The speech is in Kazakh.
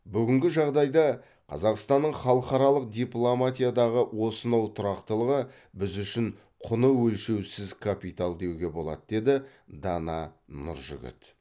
бүгінгі жағдайда қазақстанның халықаралық дипломатиядағы осынау тұрақтылығы біз үшін құны өлшеусіз капитал деуге болады деді дана нұржігіт